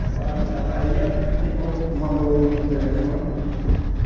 Agora a da Bahia, ligou, mandou o número do telefone.